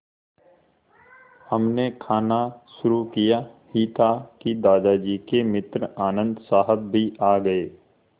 हमने खाना शुरू किया ही था कि दादाजी के मित्र आनन्द साहब भी आ गए